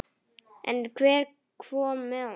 En hver kom með honum?